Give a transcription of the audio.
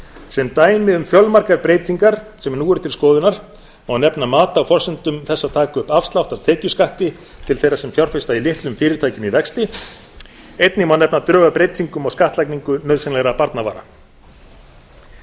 sem dæmi um fjölmargar breytingar sem nú eru til skoðunar má nefna mat á forsendum þess að taka upp afslátt af tekjuskatti til þeirra sem fjárfesta í litlum fyrirtækjum í vexti einnig má nefna drög að breytingum á skattlagningu nauðsynlegra